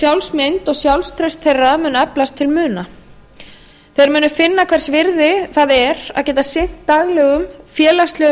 sjálfsmynd og sjálfstraust þeirra mun eflast til muna þeir munu finna hvers virði það er að geta sinnt daglegum félagslegum